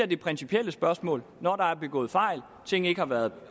det principielle spørgsmål når der er begået fejl og tingene ikke har været